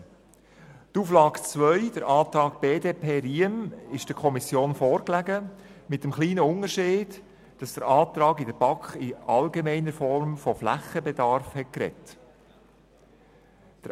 Die Auflage 2, der Antrag BDP/Riem, lag der Kommission mit dem kleinen Unterschied vor, dass im Antrag in der BaK in allgemeiner Form von Flächenbedarf die Rede war.